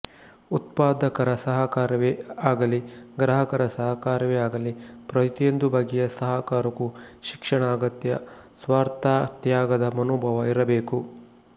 ಉತ್ಪಾದಕರ ಸಹಕಾರವೇ ಆಗಲಿ ಗ್ರಾಹಕರ ಸಹಕಾರವೇ ಆಗಲಿ ಪ್ರತಿಯೊಂದು ಬಗೆಯ ಸಹಕಾರಕ್ಕೂ ಶಿಕ್ಷಣ ಅಗತ್ಯ ಸ್ವಾರ್ಥತ್ಯಾಗದ ಮನೋಭಾವ ಇರಬೇಕು